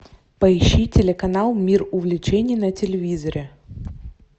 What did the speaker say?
поищи телеканал мир увлечений на телевизоре